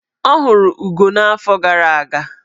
Ọ hụrụ ugo n'afọ gara aga.